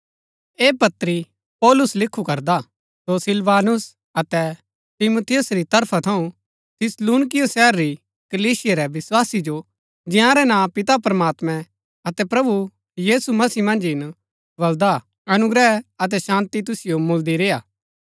ऐह पत्री पौलुस लिखु करदा सो सिलवानुस अतै तीमुथियुस री तरफा थऊँ थिस्सलुनीकियों शहर री कलीसिया रै विस्वासी जो जंयारै नां पिता प्रमात्मैं अतै प्रभु यीशु मसीह मन्ज हिन बलदा हा अनुग्रह अतै शान्ती तुसिओ मुळदी रेय्आ